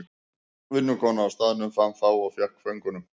Vinnukona á staðnum fann þá og fékk föngunum.